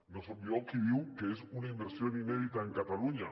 no soc jo qui diu que és una inversión inédita en cataluña